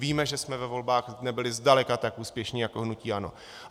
Víme, že jsme ve volbách nebyli zdaleka tak úspěšní jako hnutí ANO.